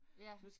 Ja